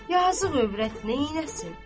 Yazıq övrət neyləsin?